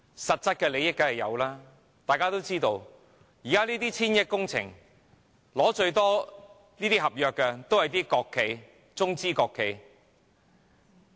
實質利益當然有，這些上千億元的工程項目，取得最多合約的均是國企、中資企業。